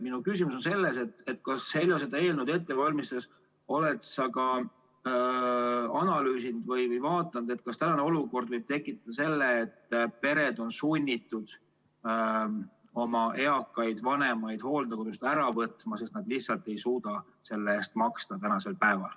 Minu küsimus on selline: kas sa, Heljo, oled seda eelnõu ette valmistades analüüsinud või vaadanud ka seda, kas praegune olukord võib tekitada selle, et pered on sunnitud oma eakaid vanemaid hooldekodust ära võtma, sest nad lihtsalt ei suuda selle eest maksta?